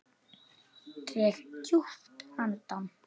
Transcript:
Dreg djúpt andann.